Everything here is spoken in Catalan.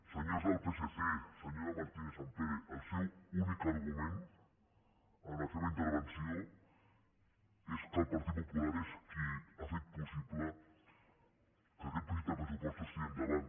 senyors del psc senyora martínez sampere el seu únic argument en la seva intervenció és que el partit popular és qui ha fet possible que aquest projecte de pressupostos tiri endavant